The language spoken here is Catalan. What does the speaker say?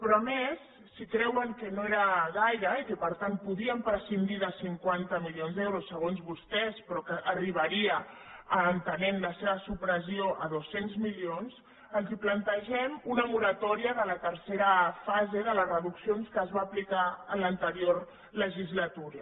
però a més si creuen que no era gaire i que per tant podien prescindir de cinquanta milions d’euros segons vostès però que arribaria entenent les seva supressió a dos cents milions els plantegem una moratòria de la tercera fase de les reduccions que es va aplicar en l’anterior legislatura